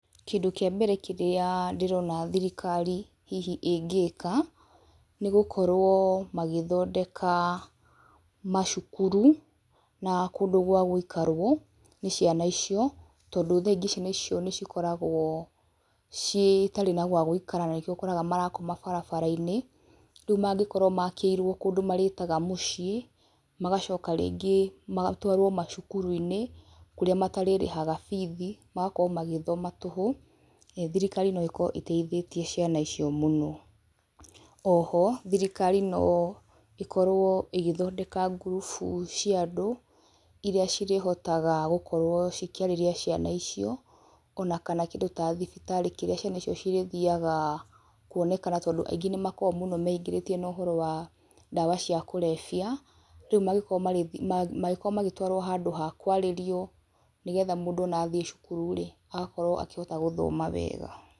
Kĩndũ kĩa mbere kĩrĩa ndĩrona thirikari hihi ĩngĩka, nĩgũkorwo magĩthondeka macukuru na kũndũ gwa gũikarwo nĩ ciana icio, tondũ thaa ingĩ ciana ĩcio nĩcikoragwo cĩtarĩ na gwa gũikara na nĩkĩo ũkoraga marakoma barabara-inĩ, rĩu mangĩkorwo makĩirwo kũndũ marĩtaga mũciĩ, magacoka rĩngĩ matwarwo macukuru-inĩ, kũrĩa matarĩrĩhaga bithi magakorwo magĩthoma tũhũ, thirikari no ĩkorwo ĩteithĩtie caina icio mũno. Oho thirikari no ĩkorwo ĩgĩthondeka ngurubu cia andũ, iria cirĩhotaga gũkorwo cikĩarĩria ciana icio, ona kana kĩndũ ta thibitarĩ kĩrĩa ciana icio cirĩthiaga kuoneka tondũ aingĩ nĩmakoragwo mũno meingĩrĩtie na ũhoro wa ndawa cia kũrebia, rĩu mangĩkorwo marĩ mangĩkorwo magĩtwarwo handũ ha kwarĩrio nĩgetha mũndũ ona athiĩ cukuru-rĩ agakorwo akĩhota gũthoma wega.